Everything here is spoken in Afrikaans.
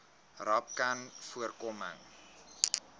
rapcanvoorkoming